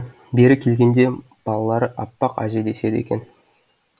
бері келгенде балалары аппақ әже деседі екен